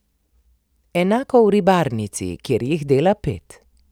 Enako v ribarnici, kjer jih dela pet.